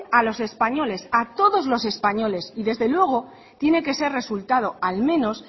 a los españoles a todos los españoles y desde luego tiene que ser resultado al menos